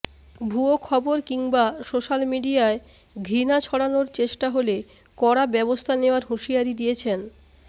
ভুয়ো খবর কিংবা সোশ্যাল মিডিয়ায় ঘৃণা ছড়ানোর চেষ্টা হলে কড়া ব্যবস্থা নেওয়ার হুঁশিয়ারি দিয়েছেন